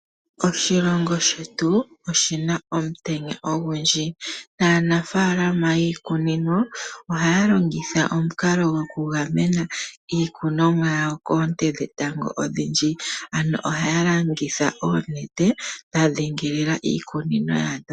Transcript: Oshilongo shetu, oshina omutenya ogundji, naanafaalama yiikunino, oha ya longitha omukalo gwo ku gamena iikuninomwa yawo koonte dhetango odhindji. Ano oha ya longitha oonete dha dhingoloka iikunino yawo.